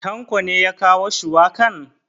Tanko ne ya kawo shuwakan?